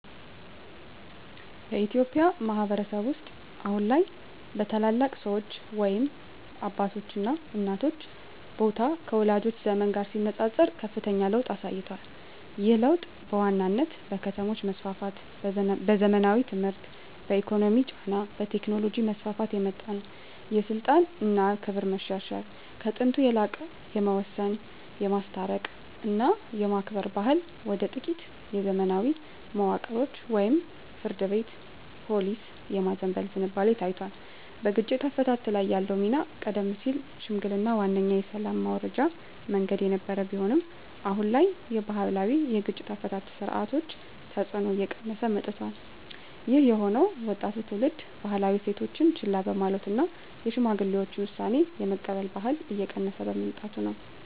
በኢትዮጵያ ማኅበረሰብ ውስጥ አሁን ላይ የታላላቅ ሰዎች (አባቶችና እናቶች) ቦታ ከወላጆቻችን ዘመን ጋር ሲነጻጸር ከፍተኛ ለውጥ አሳይቷል። ይህ ለውጥ በዋናነት በከተሞች መስፋፋት፣ በዘመናዊ ትምህርት፣ በኢኮኖሚ ጫና እና በቴክኖሎጂ መስፋፋት የመጣ ነው። የስልጣን እና ክብር መሸርሸር፦ ከጥንቱ የላቀ የመወሰን፣ የማስታረቅ እና የማክበር ባህል ወደ ጥቂት የዘመናዊ መዋቅሮች (ፍርድ ቤት፣ ፖሊስ) የማዘንበል ዝንባሌ ታይቷል። በግጭት አፈታት ላይ ያለው ሚና፦ ቀደም ሲል ሽምግልናዋነኛ የሰላም ማውረጃ መንገድ የነበረ ቢሆንም፣ አሁን ላይ የባህላዊ የግጭት አፈታት ሥርዓቶች ተጽዕኖ እየቀነሰ መጥቷል። ይህ የሆነው ወጣቱ ትውልድ ባህላዊ እሴቶችን ችላ በማለቱ እና የሽማግሌዎችን ውሳኔ የመቀበል ባህል እየቀነሰ በመምጣቱ ነው።